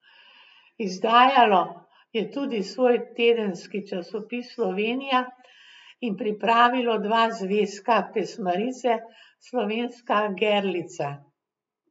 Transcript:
Izdajalo je tudi svoj tedenski časopis Slovenija in pripravilo dva zvezka pesmarice Slovenska gerlica.